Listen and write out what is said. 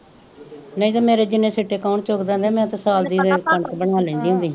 ਨਹੀਂ ਤੇ ਮੇਰੇ ਜਿੰਨੇ ਸਿੱਟੇ ਕੌਣ ਚੁਗਦਾ ਹੁੰਦਾ ਸੀ ਮੈਂ ਤਾ ਸਾਲ ਦੀ ਕਣਕ ਬਣਾ ਲੈਂਦੀ ਹੁੰਦੀ ਸੀ